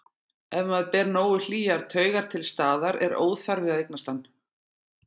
Ef maður ber nógu hlýjar taugar til staðar er óþarfi að eignast hann.